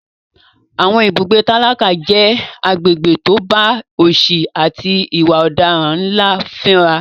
Àwọn ibùgbé tálákà jẹ́ agbègbè tó bá òsì àti ìwà ọ̀daràn ńlá fínra.